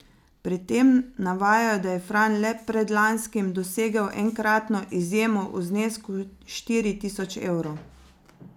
Pri tem navajajo, da je Fran le predlanskim dosegel enkratno izjemo v znesku štiri tisoč evrov.